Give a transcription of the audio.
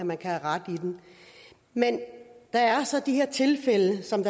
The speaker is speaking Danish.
man kan rette i den men der er så de her tilfælde som